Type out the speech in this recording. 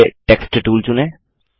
पहले text tool चुनें